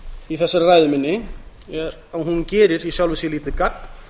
í þessari ræðu minni er að hún gerir í sjálfu sér lítið gagn